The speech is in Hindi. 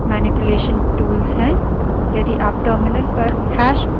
यह सारे command line text manipulation tools हैं